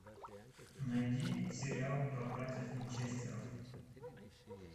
найди сериал про братьев винчестеров